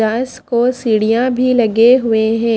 रास को सीढ़ियां भी लगे हुए हैं।